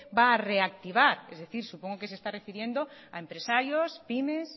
va a reactivar es decir supongo que se está refiriendo a empresarios pymes